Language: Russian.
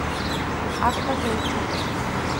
аква зооцентр